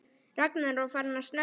Ragnar var farinn að snökta.